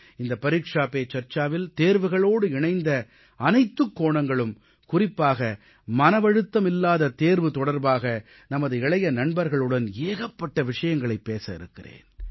இந்த பரீக்ஷா பே சர்ச்சாவில் தேர்வுகளோடு இணைந்த அனைத்துக் கோணங்களும் குறிப்பாக மனவழுத்தமில்லாத தேர்வு தொடர்பாக நமது இளைய நண்பர்களுடன் ஏகப்பட்ட விஷயங்களைப் பேச இருக்கிறேன்